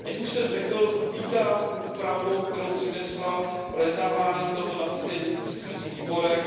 Jak už jsem řekl, vítám úpravu, kterou přinesla projednávání tohoto nařízení v příslušných výborech.